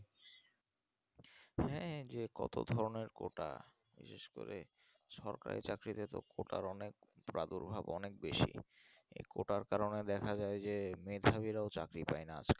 হ্যাঁ যে কত ধরণের যে quota বিশেষ করে সরকারির চাকরির quota এর অনেক প্রাদুর্ভাব অনেক বেশি এই quota এর কারণে দেখা যাই যে মেধাবীরাও চাকরি পাই না